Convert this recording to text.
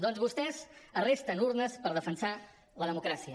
doncs vostès arresten urnes per defensar la democràcia